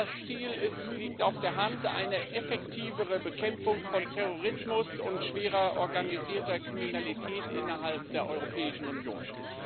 Das Ziel liegt auf der Hand eine effektivere Bekämpfung von Terrorismus und schwerer organisierter Kriminalität innerhalb der Europäischen Union.